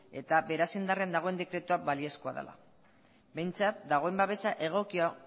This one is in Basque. eta beraz indarrean dagoen dekretua baliozkoa dela behintzat dagoen babesa egokia